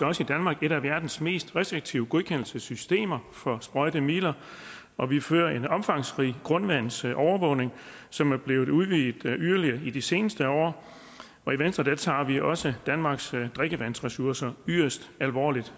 også i danmark et af verdens mest restriktive godkendelsessystemer for sprøjtemidler og vi fører en omfangsrig grundvandsovervågning som er blevet udvidet yderligere i de seneste år i venstre tager vi også danmarks drikkevandsressourcer yderst alvorligt